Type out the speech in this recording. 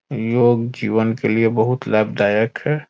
योग जीवन के लिए बहुत लाभदायक है।